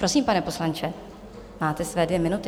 Prosím, pane poslanče, máte své dvě minuty.